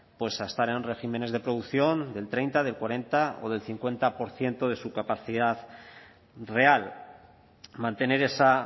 pues a estar en regímenes de producción del treinta del cuarenta o del cincuenta por ciento de su capacidad real mantener esa